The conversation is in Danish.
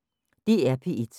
DR P1